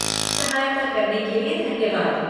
सहायता करने के लिए धन्यवाद।